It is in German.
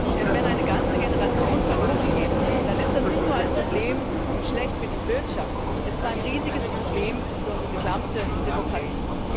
Denn wenn eine ganze Generation verloren geht, dann ist das nicht nur ein Problem und schlecht für die Wirtschaft. Es ist ein riesiges Problem für unsere gesamte Demokratie.